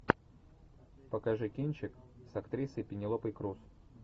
покажи кинчик с актрисой пенелопой крус